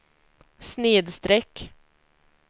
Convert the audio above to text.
snedsträck